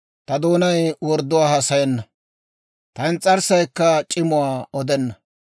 ta doonay wordduwaa haasayenna; ta ins's'arssaykka c'imuwaa odenna.